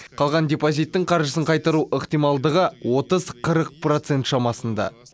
қалған депозиттің қаржысын қайтару ықтималдығы отыз қырық процент шамасында